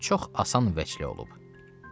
Yəni çox asan vəclə olub.